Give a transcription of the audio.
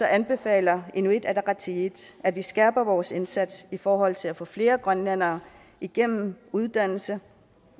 anbefaler inuit ataqatigiit at vi skærper vores indsats i forhold til at få flere grønlændere igennem uddannelse